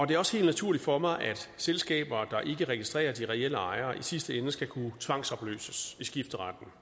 det er også helt naturligt for mig at selskaber der ikke registrerer de reelle ejere i sidste ende skal kunne tvangsopløses ved skifteretten